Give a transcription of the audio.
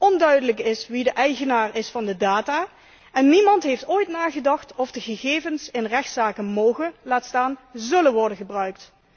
Onduidelijk is wie de eigenaar is van de data en niemand heeft ooit nagedacht of de gegevens in rechtszaken mogen, laat staan zullen worden gebruikt.